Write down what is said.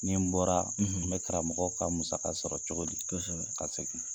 Ni n bɔra, n bɛ karamɔgɔ ka musaka sɔrɔ cogodi, kɔsɛbɛ, ka segin?